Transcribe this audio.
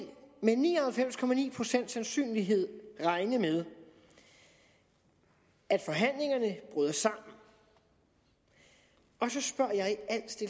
med ni og halvfems procent sandsynlighed regne med at forhandlingerne bryder sammen og så spørger jeg